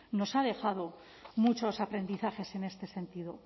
nos ha dejado muchos aprendizajes en este sentido